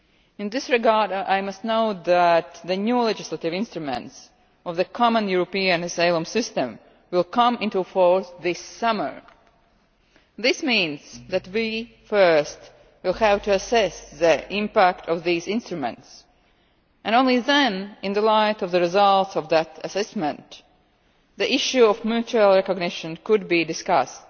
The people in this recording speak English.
In this regard, I must note that the new legislative instruments of the common European asylum system will come into force this summer. This means that we will first have to assess the impact of these instruments. Only then, in the light of the results of that assessment, could the issue of mutual recognition be discussed.